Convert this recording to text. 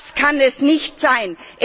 Das kann es nicht sein!